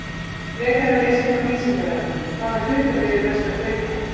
Frekara lesefni á Vísindavefnum: Hvaða hlutabréf er best að kaupa?